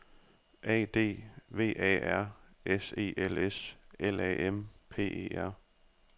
A D V A R S E L S L A M P E R